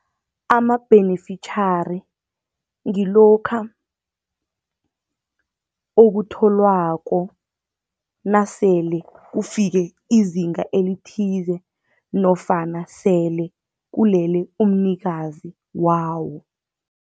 Amabhenefitjhari ngilokha okutholwako nasele kufike izinga elithize nofana sele kulele umnikazi wawo.